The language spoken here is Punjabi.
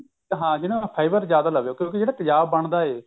ਹਾਂਜੀ ਉਹ ਨਾ fiber ਜਿਆਦਾ ਲਵੇ ਕਿਉਂਕਿ ਜਿਹੜਾ ਤੇਜਾਬ ਬਣਦਾ ਐ